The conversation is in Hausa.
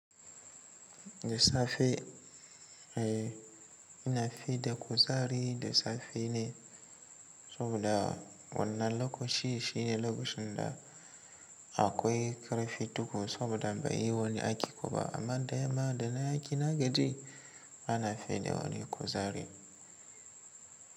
Da safe, eh ina fi da kuzari da safe ne saboda wannan lokaci shine lokacin da akwai ƙarfi tukuru saboda bai yi wani aiki ba. Amma da yamma da na yi aiki na gaji bana fiya da wani kuzari.